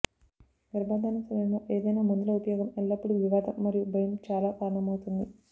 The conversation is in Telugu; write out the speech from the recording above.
గర్భధారణ సమయంలో ఏదైనా మందుల ఉపయోగం ఎల్లప్పుడూ వివాదం మరియు భయం చాలా కారణమవుతుంది